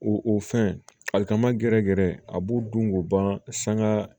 O o fɛn ali ka ma gɛrɛ gɛrɛ a b'u dun k'u ban sanga